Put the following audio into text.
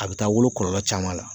A bɛ taa wolo kɔlɔlɔ caman la.